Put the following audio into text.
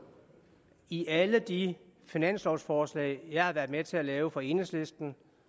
i alle de finanslovforslag jeg har været med til at lave for enhedslisten